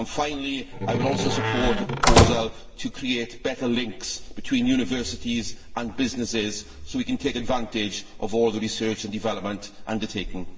Finally, I would also support the proposal to create better links between universities and businesses so that we can take advantage of all the research and development undertaken.